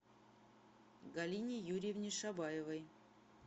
галине юрьевне шабаевой